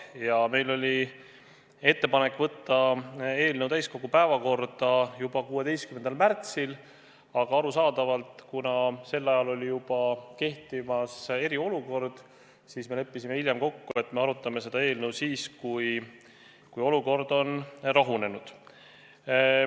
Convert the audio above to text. Ja meil oli ettepanek võtta see täiskogu päevakorda juba 16. märtsil, aga arusaadavalt, kuna sel ajal kehtis juba eriolukord, siis me leppisime hiljem kokku, et arutame seda eelnõu siis, kui olukord on rahunenud.